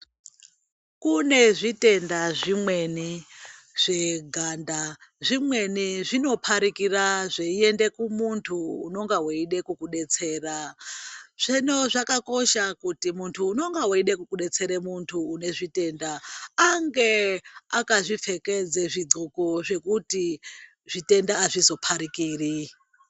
Kune zvitenda zvimweni zveganda , zvimweni zvinoparikira zvaiende kumuntu unenge weida kumudetsera .Hino zvakakosha kuti muntu unenge weida kudetsera muntu une zvitenda ange akazvipfekedza zvidhloko zvekuti zvitenda azvizoparikiri.